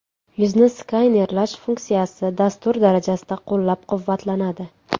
Yuzni skanerlash funksiyasi dastur darajasida qo‘llab-quvvatlanadi.